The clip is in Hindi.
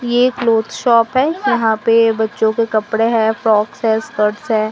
ये क्लोथ शॉप है। यहां पे बच्चों के कपड़े है फ्रॉक्स है स्कर्ट है।